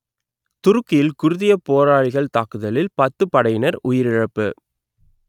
துருக்கியில் குர்தியப் போராளிகளின் தாக்குதலில் பத்து படையினர் உயிரிழப்பு